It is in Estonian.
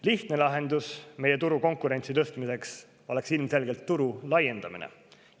Lihtne lahendus meie turu konkurentsi tõstmiseks oleks ilmselgelt turu laiendamine.